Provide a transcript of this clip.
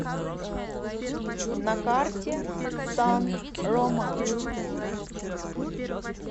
на карте сан рома